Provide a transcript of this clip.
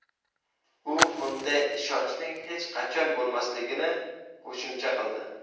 U bunday ishonchning hech qachon bo‘lmasligini qo‘shimcha qildi.